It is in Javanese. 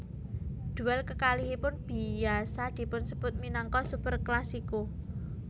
Duel kekalihipun biasa dipunsebut minangka Superclasico